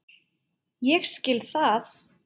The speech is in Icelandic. Ég skil það!